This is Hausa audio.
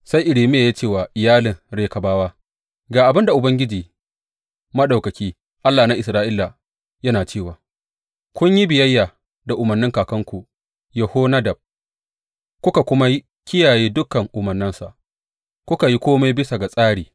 Sai Irmiya ya ce wa iyalin Rekabawa, Ga abin da Ubangiji Maɗaukaki, Allah na Isra’ila, yana cewa, Kun yi biyayya da umarnin kakanku Yehonadab kuka kuma kiyaye dukan umarnansa kuka yi kome bisa ga tsari.’